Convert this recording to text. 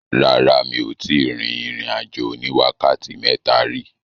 Rárá, mi ò tíì rin ìrìn-àjò oní wákàtí mẹ́ta rí.